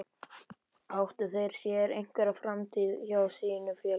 Áttu þeir sér einhverja framtíð hjá sínu félagi?